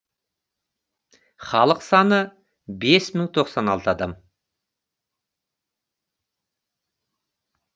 халық саны бес мың тоқсан алты адам